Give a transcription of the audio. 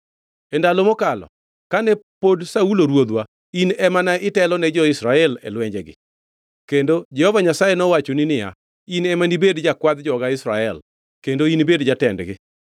E ndalo mokadho, kane pod Saulo ruodhwa in ema ne itelo ni jo-Israel e lwenjegi. Kendo Jehova Nyasaye nowachoni niya, ‘In ema nibed jakwadh joga Israel, kendo inibed jatendgi.’ ”